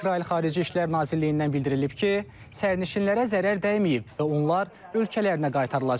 İsrail Xarici İşlər Nazirliyindən bildirilib ki, sərnişinlərə zərər dəyməyib və onlar ölkələrinə qaytarılacaq.